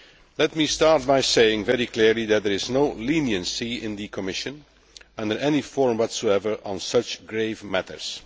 Let me start by saying very clearly that there is no leniency in the Commission in any form whatsoever on such grave matters.